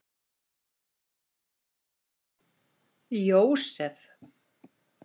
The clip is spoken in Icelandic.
Jósef